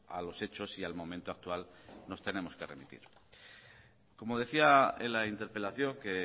a los hechos y al momento actual nos tenemos que remitir como decía en la interpelación que